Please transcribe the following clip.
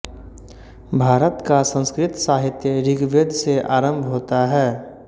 भारत का संस्कृत साहित्य ऋग्वेद से आरम्भ होता है